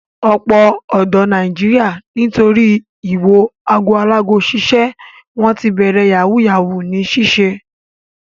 Ọ̀pọ̀ ọ̀dọ́ Nàìjíríà nítorí ìwo ago alágo ṣiṣẹ́ wọ́n ti bẹ̀rẹ̀ yahoo yahoo ní ṣíṣe.